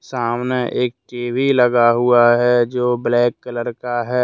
सामने एक टी_वी लगा हुआ है जो ब्लैक कलर का है।